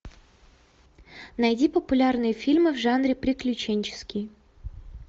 найди популярные фильмы в жанре приключенческий